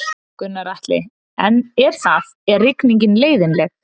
Gunnar Atli: Er það, er rigningin leiðinleg?